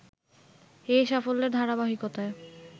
এ সাফল্যের ধারাবাহিকতায়